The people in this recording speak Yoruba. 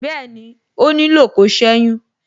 Bẹẹni, ó nílò kó seyun.